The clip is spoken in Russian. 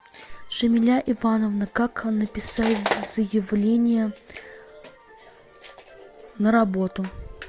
джамиля ивановна как написать заявление на работу